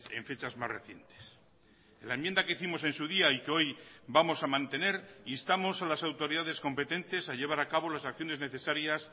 en fechas más recientes en la enmienda que hicimos en su día y que hoy vamos a mantener instamos a las autoridades competentes a llevar a cabo las acciones necesarias